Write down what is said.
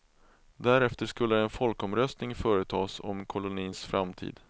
Därefter skulle en folkomröstning företas om kolonins framtid.